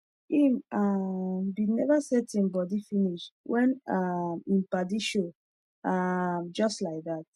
him um bin never set him body finish wen um him padi show um jus laidat